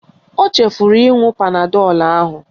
Ọ chefuru ịṅụ panadọl ahu